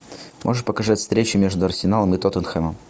можешь показать встречу между арсеналом и тоттенхэмом